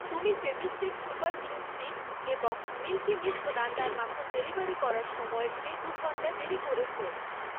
তুমি Fevistick super glue stick এবং Milky Mist রান্নার মাখন ডেলিভারি করার সময়ের চেয়ে দু' ঘন্টা দেরী করেছ।